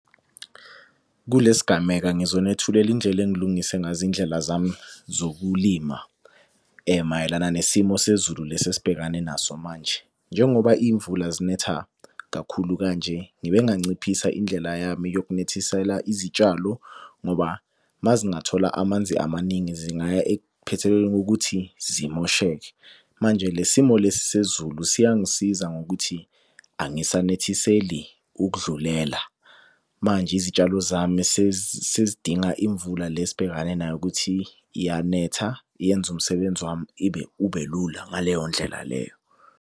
Kule sigameka ngizonethulela indlela engilungise ngazo iy'ndlela zami zokulima mayelana nesimo sezulu lesi esibhekane naso manje. Njengoba iy'mvula zinetha kakhulu kanje, ngibe nganciphisa indlela yami yokunethisela izitshalo ngoba mazingathola amanzi amaningi zingaya ekuphethelweni kokuthi zimosheke. Manje le simo lesi sezulu siyangisiza ngokuthi angisanethiseli ukudlulela. Manje izitshalo zami sezidinga imvula le sibhekane nayo ukuthi iyanetha yenza umsebenzi wami ibe ubelula ngaleyo ndlela leyo.